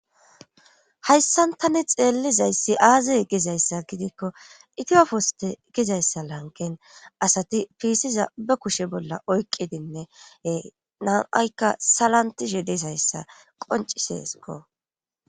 hayssantani xeellizayssi aaziy gizayssa gidikko itiyofoste gizayssa lankin asati fiisiza be kushe bolla oyqqidinnee nam7aykka salantishe disayssa qonciseesiko